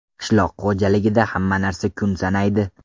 Qishloq xo‘jaligida hamma narsa kun sanaydi.